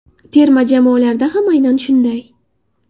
Terma jamoalarda ham aynan shunday.